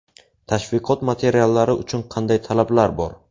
Tashviqot materiallari uchun qanday talablar bor?